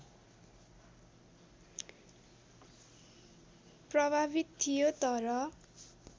प्रभावित थियो तर